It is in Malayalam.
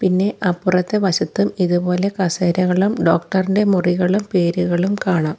പിന്നെ അപ്പുറത്തെ വശത്തും ഇതുപോലെ കസേരകളും ഡോക്ടർ ഇന്റെ മുറികളും പേരുകളും കാണാം.